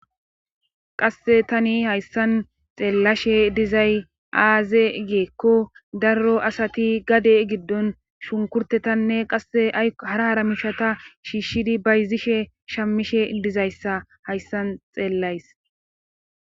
Qasse tani hayssan xeellashshe dizay aaze giikko daro asati gade giddon shunkurtetanne qasse hara hara mishata shiishshidi bayzishshe shamishshe dizayssa hayssan xeellays